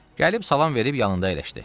Gəlib salam verib yanında əyləşdi.